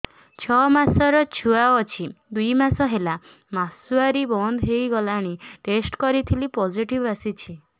ଛଅ ମାସର ଛୁଆ ଅଛି ଦୁଇ ମାସ ହେଲା ମାସୁଆରି ବନ୍ଦ ହେଇଗଲାଣି ଟେଷ୍ଟ କରିଥିଲି ପୋଜିଟିଭ ଆସିଛି